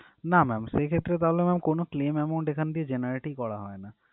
না ma'am সেক্ষেত্রে তাহলে কোনো claim amount এখান থেকে generate ই করা হয়না